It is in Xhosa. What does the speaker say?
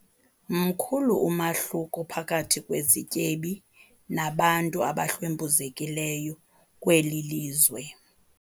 mkhulu umahluko phakathi kwezityebi nabantu abahlwempuzekileyo kweli lizwe